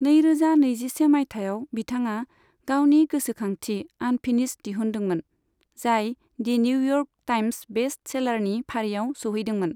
नैरोजा नैजिसे माइथायाव बिथाङा गावनि गोसोखांथि 'आनफिनिश्ड' दिहुनदोंमोन, जाय दि निउइयर्क टाइम्स बेस्ट सेलारनि फारिआव सौहैदोंमोन।